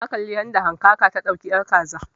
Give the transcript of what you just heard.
Na kalli yadda hankaka ta dauki ƴar kaza